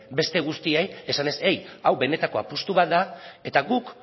beste guztiei esanez eih hau benetako apustu bat da eta guk